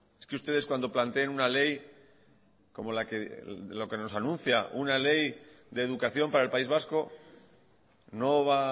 es que ustedes cuando planteen una ley como lo que nos anuncia una ley de educación para el país vasco no va a